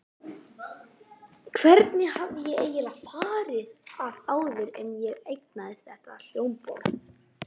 Hvernig hafði ég eiginlega farið að áður en ég eignaðist þetta hljómborð?